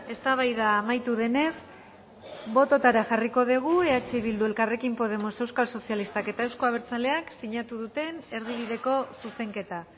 eztabaida amaitu denez bototara jarriko dugu eh bildu elkarrekin podemos euskal sozialistak eta euzko abertzaleak sinatu duten erdibideko zuzenketa